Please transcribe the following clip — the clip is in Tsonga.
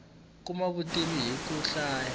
kuma vutivi hiku hlaya